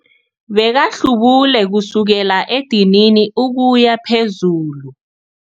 Bekahlubule kusukela edinini ukuya phezulu.